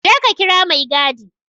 Je ka kira maigadi!